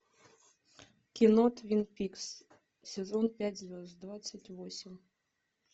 кино твин пикс сезон пять звезд двадцать восемь